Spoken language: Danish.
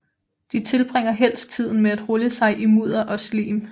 De tilbringer helst tiden med at rulle sig i mudder og slim